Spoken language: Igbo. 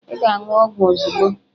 Ị ga-aṅụ ọgwụ ozugbo.